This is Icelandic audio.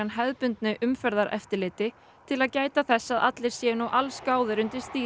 hefðbundnu umferðareftirliti til að gæta þess að allir séu nú allsgáðir undir stýri